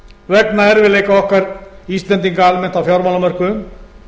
vegna erfiðleika okkar íslendinga almennt á fjármálamörkuðum